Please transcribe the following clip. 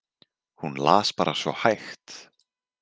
Hún las bara svo hægt.